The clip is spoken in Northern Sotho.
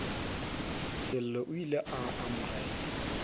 sello o ile a amogela